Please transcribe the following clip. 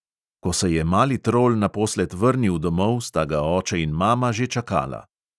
Ko se je mali trol naposled vrnil domov, sta ga oče in mama že čakala.